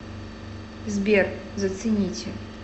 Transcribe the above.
сбер зацените